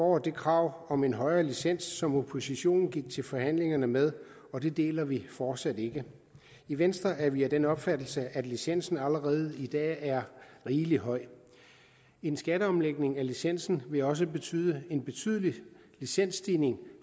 år det krav om en højere licens som oppositionen gik til forhandlingerne med og det deler vi fortsat ikke i venstre er vi af den opfattelse at licensen allerede i dag er rigelig høj en skatteomlægning af licensen vil også betyde en betydelig licensstigning